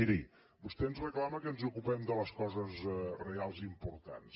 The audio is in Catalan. miri vostè ens reclama que ens ocupem de les coses reals i importants